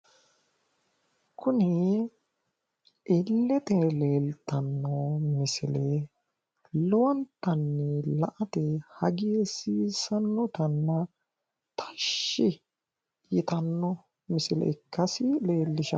Kuni illete leeltanno misile lowontanni la"ate hagiirsiissannotanna tashshi yitanno misile ikkasi leellishanno.